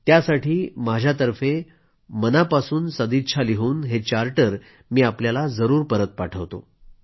त्यासाठी माझ्यातर्फे मनापासून सदिच्छा लिहून हे चार्टर मी आपल्याला जरूर परत पाठवतो